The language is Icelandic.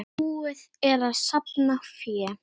Búið er að safna fé.